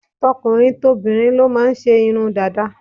Tokùnrin tobìrin ló máà ń ṣe Irun Dàda